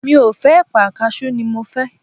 mi o fe èpà, cashew ni mo fé